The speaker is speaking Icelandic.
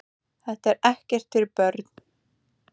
Þetta er ekkert fyrir börn!